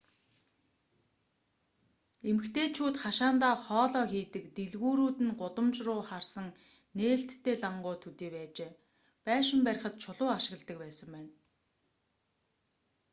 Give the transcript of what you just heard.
эмэгтэйчүүд хашаандаа хоолоо хийдэг дэлгүүрүүд нь гудамж руу харсан нээлттэй лангуу төдий байжээ байшин барихад чулуу ашигладаг байсан байна